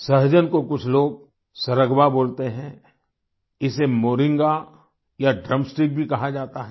सहजन को कुछ लोग सर्गवा बोलते हैं इसे मोरिंगा या ड्रम स्टिक भी कहा जाता है